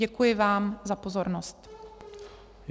Děkuji vám za pozornost.